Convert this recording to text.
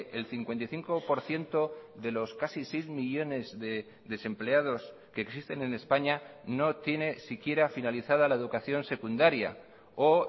el cincuenta y cinco por ciento de los casi seis millónes de desempleados que existen en españa no tiene siquiera finalizada la educación secundaria o